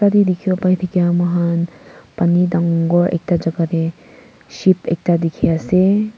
moikhan pani dangor ekta jaga teh ship ekta dikhi ase.